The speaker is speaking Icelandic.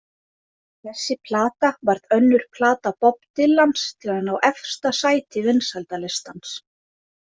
Þessi plata varð önnur plata Bob Dylans til að ná efsta sæti vinsældalistans.